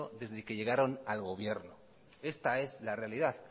desde que llegaron al gobierno esta es la realidad